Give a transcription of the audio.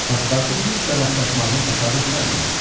Paspartu Fikslə rastlaşmağını təsadüf saymırdı.